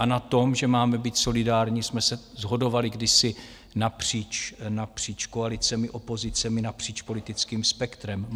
A na tom, že máme být solidární, jsme se shodovali kdysi napříč koalicemi, opozicemi, napříč politickým spektrem.